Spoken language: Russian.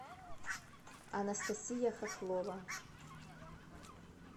анастасия хохлова